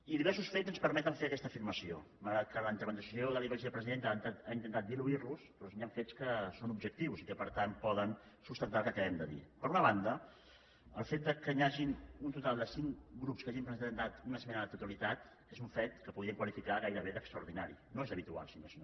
i diversos fets ens permeten fer aquesta afirmació malgrat que la intervenció de la vicepresidenta ha intentat diluir los doncs hi han fets que són objectius i que per tant poden sustentar el que acabem de dir per una banda el fet que hi hagin un total de cinc grups que hagin presentat una esmena a la totalitat és un fet que podríem qualificar gairebé d’extraordinari no és habitual si més no